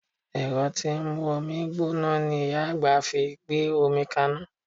Ẹ̀rọ tí ń mú omi gbóná ni Ìyá àgbà fi gbé omi kaná